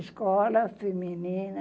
Escola Feminina.